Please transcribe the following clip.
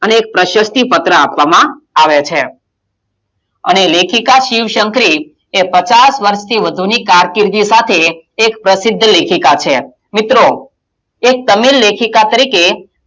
અને એક પ્રક્ષતિ પત્ર આપવામાં આવે છે અને લેખિકાં શિવ- શંકરી એ પચાસ વર્ષથી વધુની કારકિર્દી સાથે એક પ્રસિદ્ધ લેખિકાં છે મિત્રો, એક તમિલ લેખિકાં તરીકે,